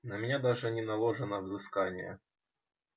на меня даже не наложено взыскание